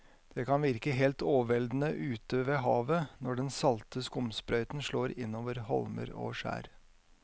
Det kan virke helt overveldende ute ved havet når den salte skumsprøyten slår innover holmer og skjær.